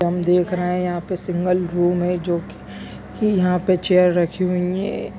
हम देख रहे है यहाँ पे सिंगल रूम है जो की यहाँ पे चेयर रखी हुई है।